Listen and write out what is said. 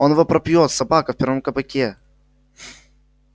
он его пропьёт собака в первом кабаке